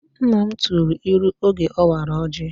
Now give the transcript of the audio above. Nna m tụrụ ilu oge ọ wara ọjị